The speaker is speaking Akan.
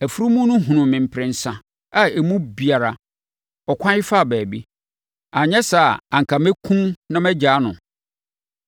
Afunumu no hunuu me mprɛnsa a emu biara ɔkwae faa baabi; anyɛ saa a, anka mɛkum wo na magyaa no.”